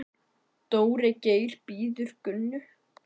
Dóri Geir bíður Gunnu.